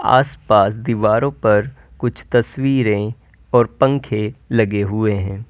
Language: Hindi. आस पास दीवारों पर कुछ तस्वीरें और पंखे लगे हुए हैं।